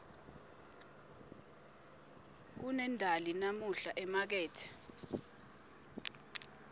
kunendali namuhla emakethe